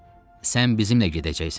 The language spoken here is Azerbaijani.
Sən bizimlə gedəcəksən.